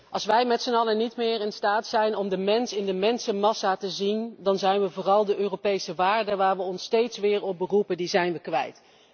Als wij met z'n allen niet meer in staat zijn om de mens in de mensenmassa te zien, dan zijn we vooral de Europese waarden, waar we ons steeds weer op beroepen, kwijt.